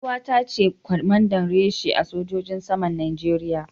Yar uwata ce kwamanda reshe a sojojin saman Najeriya.